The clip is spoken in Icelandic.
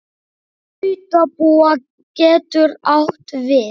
Nautabú getur átt við